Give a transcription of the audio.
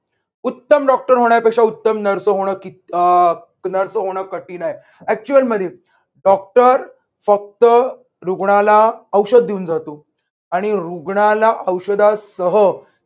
उत्तम डॉक्टर होण्यापेक्षा उत्तम nurse होण किती अह nurse होण कठीण हाय. actual मध्ये डॉक्टर फक्त रुग्णाला औषध देऊन जातो आणि रुग्णाला औषधा सह